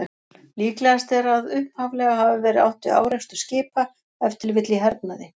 Líklegast er að upphaflega hafi verið átt við árekstur skipa, ef til vill í hernaði.